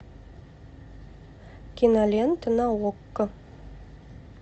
кинолента на окко